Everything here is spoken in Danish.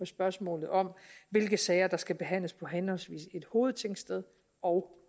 spørgsmålet om hvilke sager der skal behandles på henholdsvis et hovedtingsted og